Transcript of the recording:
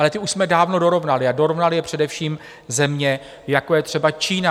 Ale ty už jsme dávno dorovnali, a dorovnaly je především země, jako je třeba Čína.